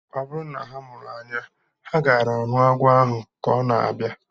Ọ bụrụ na ha mụ anya, ha gaara ahụ agwọ ahu ka ọ na-abịa